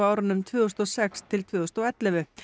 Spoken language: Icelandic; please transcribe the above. árunum tvö þúsund og sex til tvö þúsund og ellefu